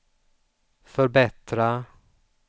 förbättra